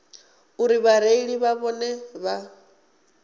uri vhareili na vhone vha